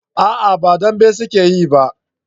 a'a ba dambe su ke yi ba